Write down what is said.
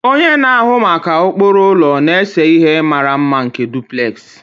Onye na-ahụ maka ụkpụrụ ụlọ na-ese ihe mara mma nke duplex